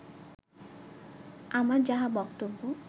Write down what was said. আমার যাহা বক্তব্য